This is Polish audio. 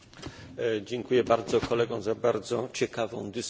Dziękuję bardzo kolegom za bardzo ciekawą dyskusję.